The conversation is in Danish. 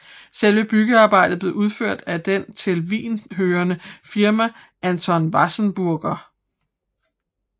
Selve byggearbejdet blev udført af det til Wien hørende firma Anton Wasserburger